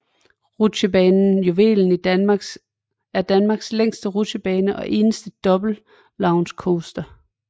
Rutsjebanen Juvelen er Danmarks længste rutsjebane og eneste double launch coaster